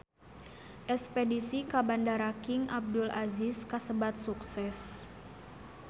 Espedisi ka Bandara King Abdul Aziz kasebat sukses